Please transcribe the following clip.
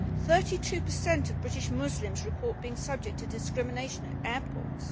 Thirty two per cent of British Muslims report being subject to discrimination at airports.